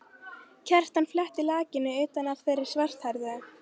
Kjartan fletti lakinu utan af þeirri svarthærðu.